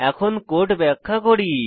এখন কোড ব্যাখ্যা করি